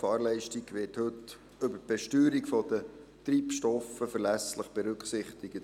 Die Fahrleistung wird heute über die Besteuerung der Treibstoffe verlässlich berücksichtig.